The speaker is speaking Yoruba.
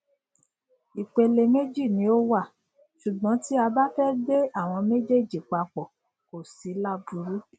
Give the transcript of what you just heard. ìpele méjì ni ó wà ṣùgbọn tí bá fẹ gbé àwọn méjèèjì papọ kó sí láburú